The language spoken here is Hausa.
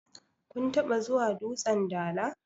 kun taba zuwa dutsen Dala?